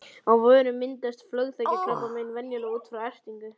Á vörum myndast flöguþekjukrabbamein venjulega út frá ertingu.